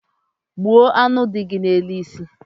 Gbuo aṅụ dị gị n’elu isi